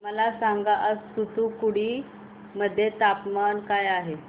मला सांगा आज तूतुकुडी मध्ये तापमान काय आहे